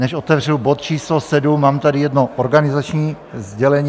Než otevřu bod číslo 7, mám tady jedno organizační sdělení.